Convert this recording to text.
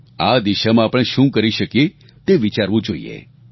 આ દિશામાં આપણે શું કરી શકીએ તે વિચારવું જોઈએ